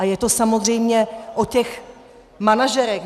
A je to samozřejmě o těch manažerech.